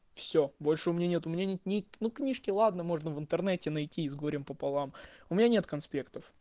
всё больше у меня нет мнений ни ну книжки ладно можно в интернете найти с горем пополам у меня нет конспектов